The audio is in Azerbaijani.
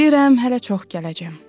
Bilirəm, hələ çox gələcəm.